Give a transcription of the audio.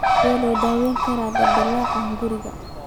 Sidee loo daweyn karaa dildilaaca hunguriga?